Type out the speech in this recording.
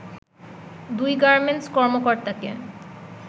দুই গার্মেন্টস কর্মকর্তাকে